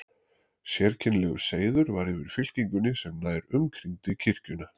Sérkennilegur seiður var yfir fylkingunni sem nær umkringdi kirkjuna.